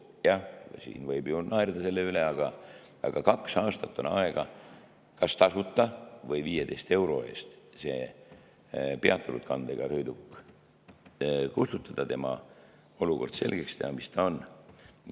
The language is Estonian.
Jah, siin võib ju naerda selle üle, aga kaks aastat on aega kas tasuta või 15 euro eest see peatunud kandega sõiduk kustutada, olukord selgeks teha, mis sellega on.